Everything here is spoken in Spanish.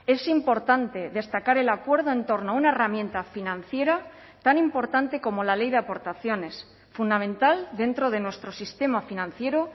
es importante destacar el acuerdo en torno a una herramienta financiera tan importante como la ley de aportaciones fundamental dentro de nuestro sistema financiero